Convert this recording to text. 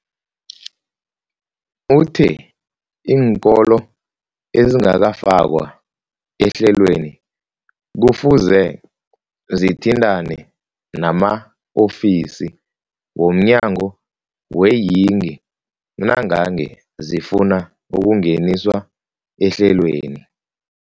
Uthe iinkolo ezingakafakwa ehlelweneli kufuze zithintane nama-ofisi wo mnyango weeyingi nangange zifuna ukungeniswa ehlelweni.